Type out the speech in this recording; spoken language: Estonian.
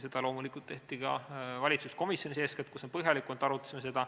Seda loomulikult tehti ka valitsuskomisjonis, kus me seda põhjalikumalt arutasime.